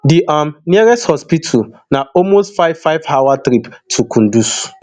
di um nearest hospital na almost five five hour trip for kunduz